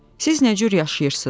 Siz nə cür yaşayırsınız?